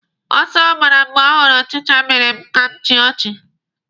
Ọsọ ọ gbara mgbe ọ hụrụ ọchịcha mere m ka m chịa ọchị.